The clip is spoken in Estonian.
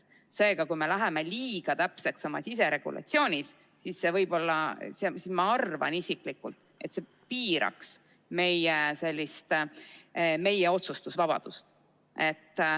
Seega, ma arvan isiklikult, et kui me läheme liiga täpseks oma siseregulatsioonis, siis see piiraks meie otsustusvabadust.